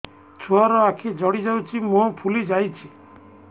ଛୁଆର ଆଖି ଜଡ଼ି ଯାଉଛି ମୁହଁ ଫୁଲି ଯାଇଛି